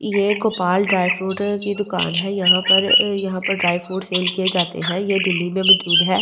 ये गोपाल ड्रायफ्रूडर की दुकान है यहां पर यहां पर ड्रायफ्रूट सेल किये जाते है ये दिल्‍ली में मजूद है और ये--